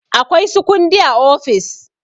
Akwai su kundi a ofis.